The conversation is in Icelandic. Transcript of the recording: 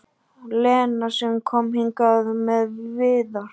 Lena sem kom hingað með Viðar?